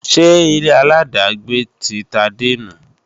Ṣé ilé-aláàdágbé ti Tade nu?